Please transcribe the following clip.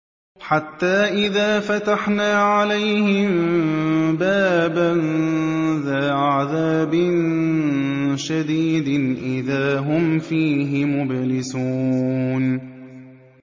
حَتَّىٰ إِذَا فَتَحْنَا عَلَيْهِم بَابًا ذَا عَذَابٍ شَدِيدٍ إِذَا هُمْ فِيهِ مُبْلِسُونَ